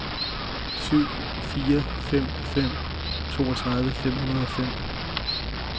syv fire fem fem toogtredive fem hundrede og fem